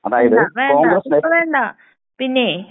വേണ്ട വേണ്ട ഇപ്പോ വേണ്ട. പിന്നേയ്